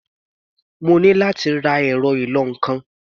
Mo ní láti ra ẹ̀rọ ìlọ-nǹkan.